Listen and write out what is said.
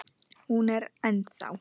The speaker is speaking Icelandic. Hún er ennþá.